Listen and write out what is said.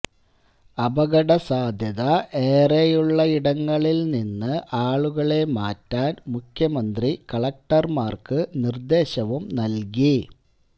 അപകട സാധ്യത ഏറെയുള്ളയിടങ്ങളിൽനിന്ന് ആളുകളെ മാറ്റാൻ മുഖ്യമന്ത്രി കലക്ടർമാർക്ക് നിർദേശവും നൽകി